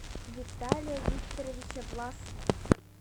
виталия викторовича власова